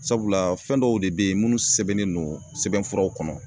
Sabula fɛn dɔw de be ye minnu sɛbɛnnen don sɛbɛnfuraw kɔnɔ.